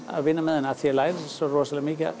að vinna með henni því ég læri svo rosalega mikið af